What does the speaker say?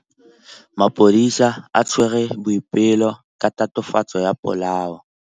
Maphodisa a tshwere Boipelo ka tatofatsô ya polaô.